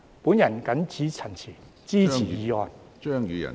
我謹此陳辭，支持議案。